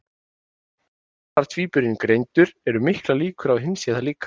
Sé annar tvíburinn greindur eru miklar líkur á að hinn sé það líka.